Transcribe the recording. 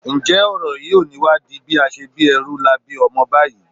Ǹjẹ́ ọ̀rọ̀ yìí ò ní wá di bí a ṣe bí ẹrú la bí ọmọ báyìí?